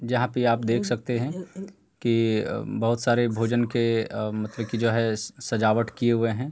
यहाँ पे आप देख सकते हैं कि बहोत सारे भोजन के अ मतलब की जो है सजावट किये हुए हैं।